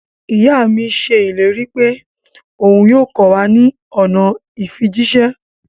Iya mi ṣe ileri pe oun yoo kọ wa ni ọna ifijiṣẹ.